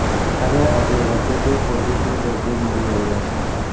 ત્યારે આજે વધુ બે પોઝિટિવ દર્દી મળી આવ્યા છે